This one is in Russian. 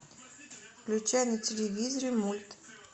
включай на телевизоре мульт